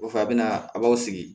Kɔfɛ a bɛ na a b'aw sigi